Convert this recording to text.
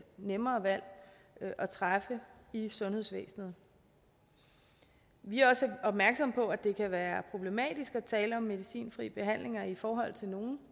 nemmere valg at træffe i sundhedsvæsenet vi er også opmærksomme på at det kan være problematisk at tale om medicinfri behandling i forhold til nogle